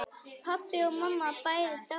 Pabbi og mamma bæði dáin.